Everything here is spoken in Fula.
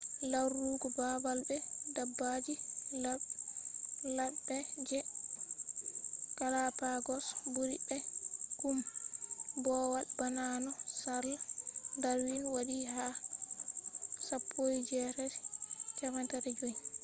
larugo babal be dabbaji ladde je galapagos buri be kombowal bana no charles darwin wadi ha 1835